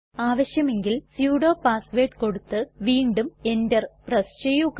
ആവശ്യമെങ്കിൽ sudo password കൊടുത്ത് വീണ്ടും എന്റർ പ്രസ് ചെയ്യുക